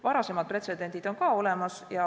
Varasemad pretsedendid on ka olemas.